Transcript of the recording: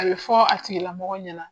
A bi fɔ a tigila mɔgɔ ɲɛna